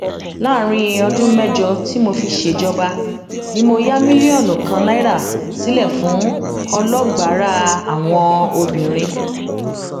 láàrin ọdún mẹjọ tí mo fi ṣèjọba ni mo ya mílíọnù kan náírà sílẹ fún ọlọgbárà àwọn obìnrin